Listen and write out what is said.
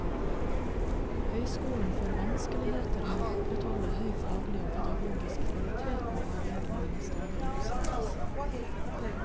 Høyskolen får vanskeligheter med å opprettholde høy faglig og pedagogisk kvalitet når bevilgningene stadig reduseres.